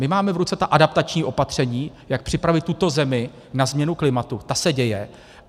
My máme v ruce ta adaptační opatření, jak připravit tuto zemi na změnu klimatu, ta se děje.